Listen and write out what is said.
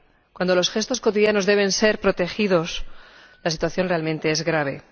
Cuando los gestos cotidianos deben ser protegidos, la situación es realmente grave.